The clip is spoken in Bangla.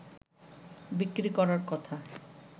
বিক্রি করার কথা